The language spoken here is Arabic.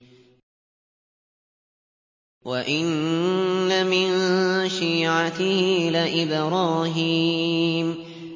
۞ وَإِنَّ مِن شِيعَتِهِ لَإِبْرَاهِيمَ